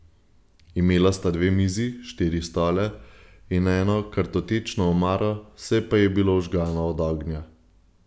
Imela sta dve mizi, štiri stole in eno kartotečno omaro, vse pa je bilo ožgano od ognja.